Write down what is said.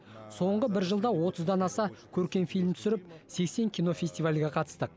соңғы бір жылда отыздан аса көркем фильм түсіріп сексен кинофестивальге қатыстық